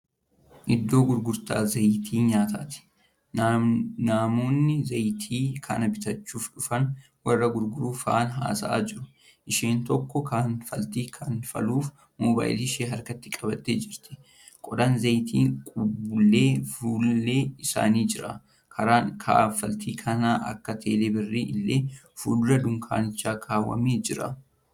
Iddoo gurgurtaa zayiita nyaataati. Namoonni zayiita kana bitachuu dhufan, warra gurguru faana haasa'aa jiru. Isheen tokkommoo kanfaltii kanfaluuf mobaayila ishee harkatti qabattee jirti. Qodaan zayiita qabullee fullee isaanii jira. Karaan kanfaltii kan akka teelee birrii illee fuldura dunkaanichaa kaawwamee jira.